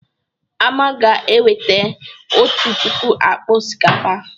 Ama ga-eweta otu puku akpa osikapa.